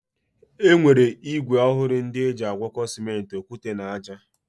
E nwere ígwè ọhụrụ ndị eji agwọkọ Simenti, okwute na ájá.